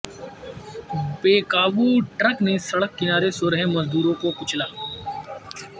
بےقابو truck نے سڑک کنارے سو رہے مزدوروں کو کچلا